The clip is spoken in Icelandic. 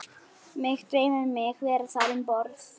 Mig dreymir mig vera þar um borð